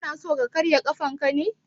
Kana so ka karya ƙafanka ne?